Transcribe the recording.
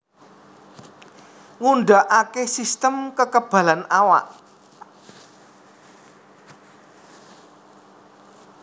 Ngundhakake sistem kekebalan awak